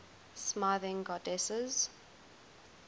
smithing goddesses